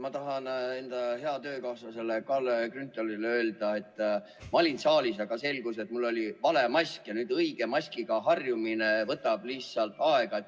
Ma tahan enda heale töökaaslasele Kalle Grünthalile öelda, et ma olin saalis, aga selgus, et mul oli ees vale mask ja õige maskiga harjumine võtab lihtsalt aega.